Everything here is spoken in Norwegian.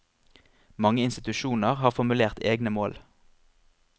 Mange institusjoner har formulert egne mål.